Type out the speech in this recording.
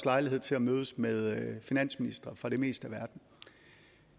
lejlighed til at mødes med finansministre fra det meste af verden